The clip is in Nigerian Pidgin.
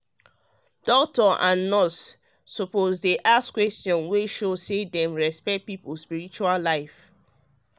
ah doctors and nurses suppose dey ask questions wey show say dem respect people spiritual life.